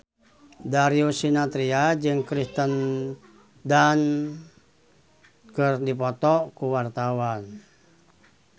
Darius Sinathrya jeung Kirsten Dunst keur dipoto ku wartawan